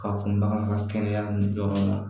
Ka kunbaga bɔ kɛnɛya ni jɔ ma